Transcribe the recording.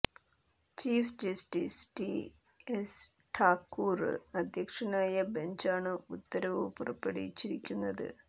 chief justice T S Thakur അദ്ധ്യക്ഷനായ ബഞ്ചാണ് ഉത്തരവ് പുറപ്പെടുവിച്ചിരിക്കുന്നത്